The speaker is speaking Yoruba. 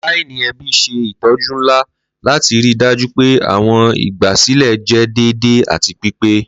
Laini ẹbi ṣe itọju nla lati rii daju pe awọn igbasilẹ jẹ deede ati pipe.